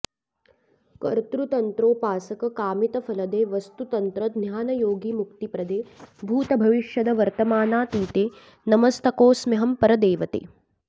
कर्तृतन्त्रोपासक कामितफलदे वस्तुतन्त्र ज्ञानयोगि मुक्तिप्रदे भूतभविष्यद् वर्तमानातीते नतमस्तकोऽस्म्यहं परदेवते